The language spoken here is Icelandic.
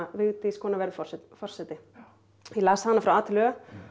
Vigdís kona verður forseti forseti ég las hana frá a til ö